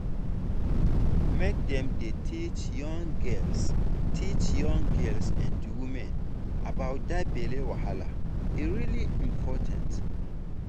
make dem dey teach young girls teach young girls and women about that belly wahala e really important